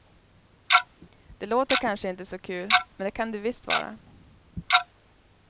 Det låter kanske inte så kul, men det kan det visst vara.